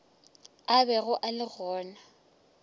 a bego a le gona